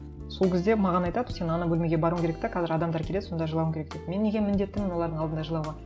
сол кезде маған айтады сен ана бөлмеге баруың керек те қазір адамдар келеді сонда жылауың керек деп мен неге міндеттімін олардың алдында жылауға